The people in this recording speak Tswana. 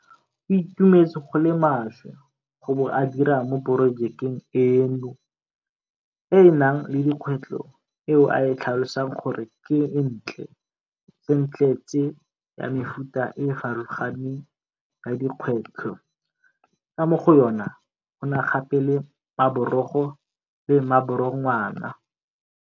O itumetse go le maswe go bo a dira mo porojekeng eno e e nang le dikgwetlho eo a e tlhalosang gore ke ntle tsentletse ya mefuta e e farologaneng ya dikgwetlho ka mo go yona go na gape le maborogo le maborogwana.